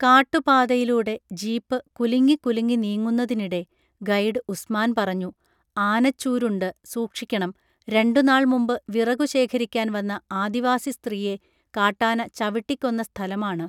കാട്ടുപാതയിലൂടെ jeep കുലുങ്ങിക്കുലുങ്ങി നീങ്ങുന്നതിനിടെ guide Usman പറഞ്ഞു ആനച്ചൂരുണ്ട് സൂക്ഷിക്കണം രണ്ടു നാൾ മുമ്പ് വിറകു ശേഖരിക്കാൻ വന്ന ആദിവാസി സ്ത്രീയെ കാട്ടാന ചവിട്ടിക്കൊന്ന സ്ഥലമാണ്